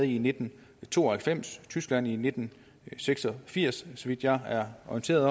i nitten to og halvfems og tyskland i nitten seks og firs så vidt jeg er orienteret